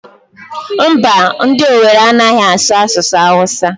Mba, ndị Owere anaghị asụ asụsụ Awụsa.